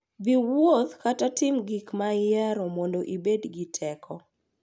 Dhi wuotho ​​kata timo gik ma ihero mondo ibed gi teko.